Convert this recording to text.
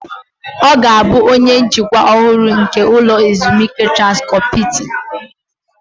Ọ ga-abụ onye njikwa ọhụrụ nke ụlọ ezumike Transkọp Hiltin